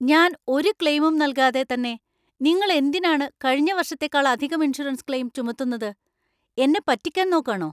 ഞാൻ ഒരു ക്ലെയിമും നൽകാതെ തന്നെ നിങ്ങൾ എന്തിനാണ് കഴിഞ്ഞ വർഷത്തേക്കാളധികം ഇൻഷുറൻസ് ക്ലെയിം ചുമത്തുന്നത്? എന്നെ പറ്റിക്കാന്‍ നോക്കാണോ?